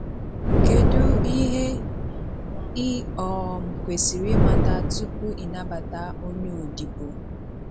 Kedụ ihe ị um kwesiri imata tupu ị nabata onye odibo.